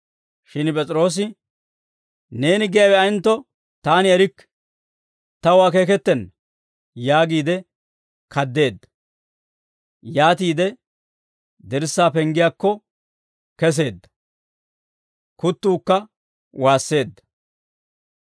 Shin P'es'iroosi, «Neeni giyaawe ayentto taani erikke; taw akeeketenna» yaagiide kaddeedda; yaatiide dirssaa penggiyaakko keseedda; kuttuukka waasseedda.